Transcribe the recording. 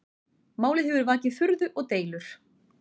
Málið hefur vakið furðu og deilur